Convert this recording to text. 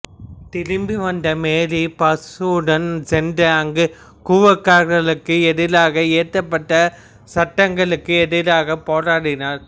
திரும்பிவந்த Mary பாசுடன் சென்று அங்கு குவாக்கர்களுக்கு எதிராக இயற்றப்பட்ட சட்டங்களுக்கு எதிராக போராடினார்